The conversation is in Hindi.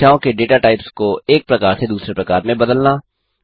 संख्याओं के डेटा टाइप्स को एक प्रकार से दूसरे प्रकार में बदलना